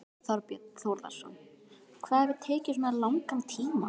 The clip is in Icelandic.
Þorbjörn Þórðarson: Hvað hefur tekið svona langan tíma?